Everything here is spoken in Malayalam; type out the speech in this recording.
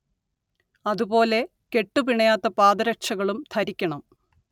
അതു പോലെ കെട്ടു പിണയാത്ത പാദരക്ഷകളും ധരിക്കണം